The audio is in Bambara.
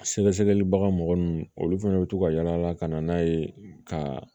Sɛgɛsɛgɛli baga mɔgɔ nun olu fɛnɛ bɛ to ka yala ka na n'a ye ka